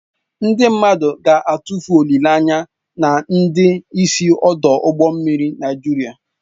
Ndị mmadụ ga-atụfu olileanya na ndị isi ọdụ ụgbọ mmiri Nigeria